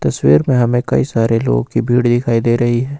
तस्वीर में हमें कई सारे लोगों की भीड़ दिखाई दे रही है।